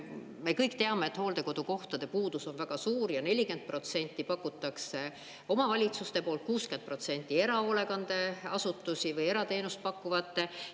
Me kõik teame, et hooldekodukohtade puudus on väga suur ja 40% pakutakse omavalitsuste poolt, 60% erahoolekandeasutuste või erateenust pakkuvate poolt.